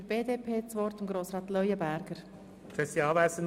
Wir kommen nun zu den Fraktionen.